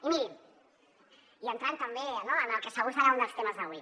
i mirin i entrant també no en el que segur que serà un dels temes d’avui